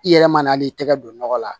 I yɛrɛ mana hali i tɛgɛ don nɔgɔ la